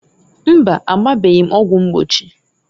Mbaǃ Agbabeghi m ọgwụ mgbochi.